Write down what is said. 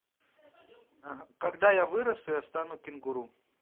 когда я вырасту я стану кенгуру